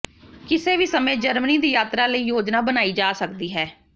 ਕਿਸੇ ਵੀ ਸਮੇਂ ਜਰਮਨੀ ਦੀ ਯਾਤਰਾ ਲਈ ਯੋਜਨਾ ਬਣਾਈ ਜਾ ਸਕਦੀ ਹੈ